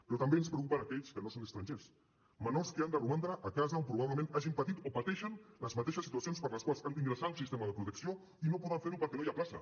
però també ens preocupen aquells que no són estrangers menors que han de romandre a casa on probablement hagin patit o pateixen les mateixes situacions per les quals han d’ingressar a un sistema de protecció i no poden fer ho perquè no hi ha plaça